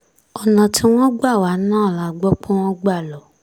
ọ̀nà tí wọ́n gbà wá náà la gbọ́ pé wọ́n gbà lọ